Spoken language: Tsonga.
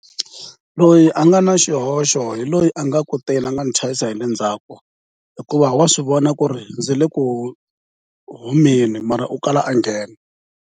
Loyi a nga na xihoxo hi loyi a nga kuteni a nga ndzi chayisa hi le ndzhaku hikuva wa swi vona ku ri ndzi le ku humeni mara u kala a nghena.